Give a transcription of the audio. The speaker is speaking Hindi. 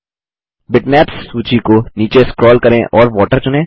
बिटमैप्स सूची को नीचे स्क्रोल करें और वाटर चुनें